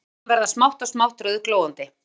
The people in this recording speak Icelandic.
Þræðirnir verða smátt og smátt rauðglóandi